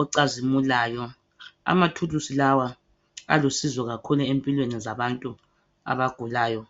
ocazimulayo amathulusi lawa alusizo kakhulu empilweni zabantu abagulayo